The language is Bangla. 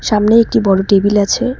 সামনে একটি বড় টেবিল আছে।